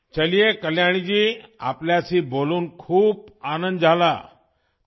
چلو کلیانی جی، آپ سے بات کر کے بہت خوشی ہوئی